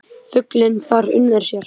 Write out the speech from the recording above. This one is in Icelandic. Fuglinn þar unir sér.